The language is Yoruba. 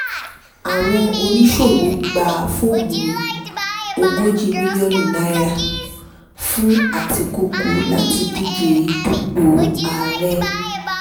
àwọn oníṣòwò gba fọ́ọ̀mù ogójì mílíọ̀nù náírà fún àtikukù láti díje dupò ààrẹ